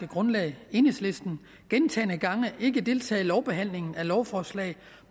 grundlag enhedslisten gentagne gange ikke deltager i lovbehandlingen af lovforslag